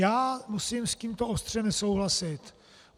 Já musím s tímto ostře nesouhlasit.